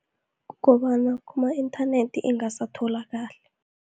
Kukobana kuma-inthanethi ingasatholakali.